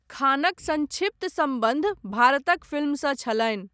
खानक संक्षिप्त सम्बन्ध भारतक फिल्मसँ छलनि।